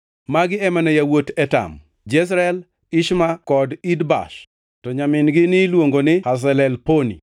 Magi ema ne yawuot Etam: Jezreel, Ishma kod Idbash, to nyamin-gi niluongo ni Hazelelponi.